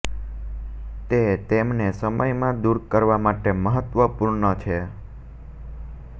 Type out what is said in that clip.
તે તેમને સમય માં દૂર કરવા માટે મહત્વપૂર્ણ છે